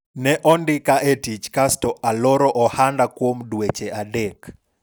ne ondika e tich kasto aloro ohanda kuom dweche adek